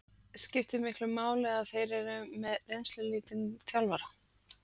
Skiptir miklu máli að þeir eru með reynslulítinn þjálfara?